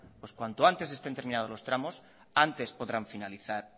pues cuanto antes estén terminados los tramos antes podrán finalizar